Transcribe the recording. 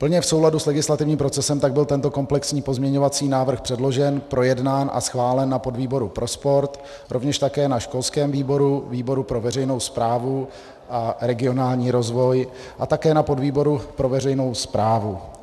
Plně v souladu s legislativním procesem tak byl tento komplexní pozměňovací návrh předložen, projednán a schválen na podvýboru pro sport, rovněž také na školském výboru, výboru pro veřejnou správu a regionální rozvoj a také na výboru pro veřejnou správu.